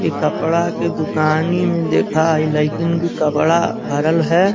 इ कपड़ा के दुकानि में देखा हइ लइकिन के कपड़ा भरल है।